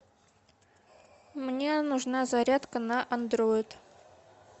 мне нужна зарядка на андроид